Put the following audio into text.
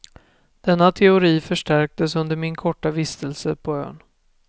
Denna teori förstärktes under min korta vistelse på ön.